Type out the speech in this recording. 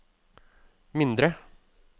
mindre